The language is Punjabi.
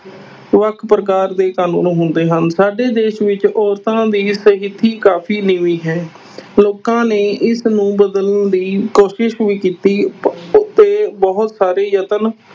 ਵੱਖ ਪ੍ਰਕਾਰ ਦੇ ਕਾਨੂੰਨ ਹੁੰਦੇ ਹਨ ਸਾਡੇ ਦੇਸ ਵਿੱਚ ਔਰਤਾਂ ਦੀ ਸਥਿੱਤੀ ਕਾਫ਼ੀ ਨੀਵੀਂ ਹੈ ਲੋਕਾਂ ਨੇ ਇਸ ਨੂੰ ਬਦਲਣ ਦੀ ਕੋਸ਼ਿਸ਼ ਵੀ ਕੀਤੀ ਤੇ ਬਹੁਤ ਸਾਰੇੇ ਯਤਨ